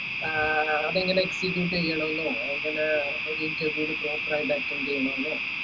ഏർ അത് എങ്ങനെ experience ചെയ്യണം ന്നോ എങ്ങന ചെയ്യണം ന്നോ